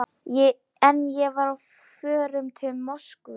En ég var á förum til Moskvu.